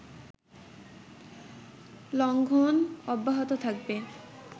লঙ্ঘন অব্যাহত থাকবে